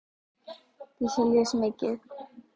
Dísa les mikið.